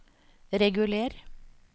reguler